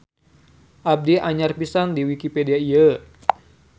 Abdi anyar pisan di wikipedia ieu.